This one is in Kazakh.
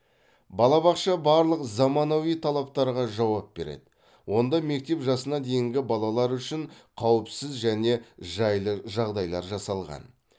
балабақша барлық заманауи талаптарға жауап береді онда мектеп жасына дейінгі балалар үшін қауіпсіз және жайлы жағдайлар жасалған